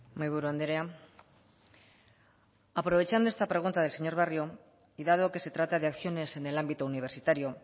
mahaiburu andrea aprovechando esta pregunta del señor barrio y dado que se trata de acciones en el ámbito universitario